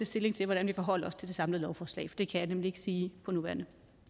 stilling til hvordan vi forholder os til det samlede lovforslag det kan vi nemlig ikke sige på nuværende